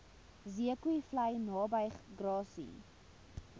zeekoevlei naby grassy